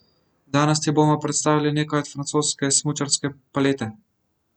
Danes ti bomo predstavili nekaj od francoske smučarske palete.